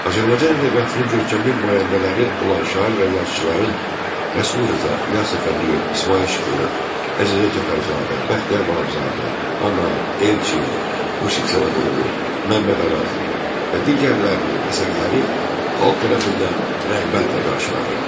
Azərbaycan ədəbiyyatının görkəmli nümayəndələri olan şair və yazıçıların, Rəsul Rza, İlyas Əfəndiyev, İsmayıl Şıxlı, Əzizə Cəfərzadə, Bəxtiyar Vahabzadə, Anar, Elçin, Yusif Səmədoğlu, Məmməd Araz və digərlərinin əsərləri xalq tərəfindən rəğbətlə qarşılanırdı.